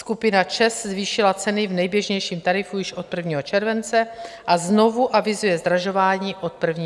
Skupina ČEZ zvýšila ceny v nejběžnějším tarifu již od 1. července a znovu avizuje zdražování od 1. srpna.